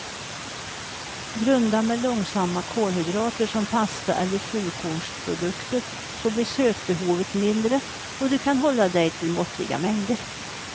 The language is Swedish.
Grunda med långsamma kolhydrater som pasta eller fullkornsprodukter så blir sötbehovet mindre och du kan hålla dig till måttliga mängder.